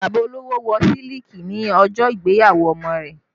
Bàbá olówó Wọ́ siliki ní ọjọ́ ìgbéyàwó ọmọ rẹ̀